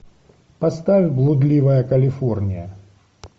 поставь блудливая калифорния